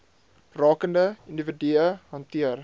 rakende individue hanteer